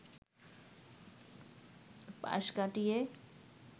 পাশ কাটিয়ে